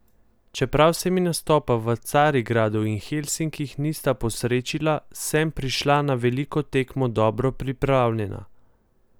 Čeprav se mi nastopa v Carigradu in Helsinkih nista posrečila, sem prišla na veliko tekmo dobro pripravljena.